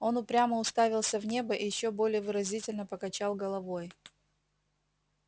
он упрямо уставился в небо и ещё более выразительно покачал головой